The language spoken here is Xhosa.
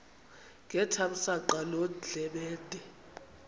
ngethamsanqa loo ndlebende